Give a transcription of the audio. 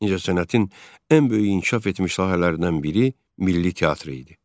İncəsənətin ən böyük inkişaf etmiş sahələrindən biri milli teatr idi.